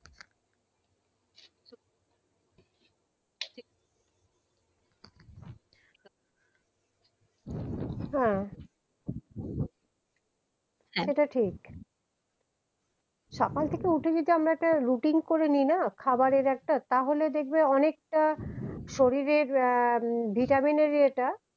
হ্যা এটা ঠিক সকাল থেকে উঠে যদি আমরা routine করে নেই না খাবারের একটা তাহলে দেখবে অনেকটা শরীরের আহ ভিটামিন এর ইয়েটা